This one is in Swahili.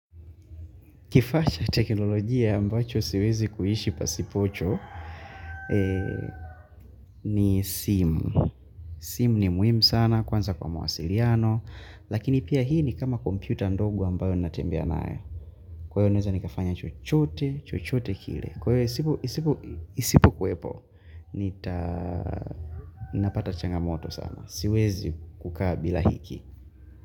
Kifacha cha teknolojia ambacho siwezi kuishi pasipocho ni simu. Simu ni muhimu sana, kwanza kwa mawasiliano, lakini pia hii ni kama kompita ndogo ambayo natembea nayo. Kwa hiyo naeza nikafanya chochote, chochote kile. Kwa hiyo isipo kuwepo, nita napata changamoto sana. Siwezi kukaa bila hiki.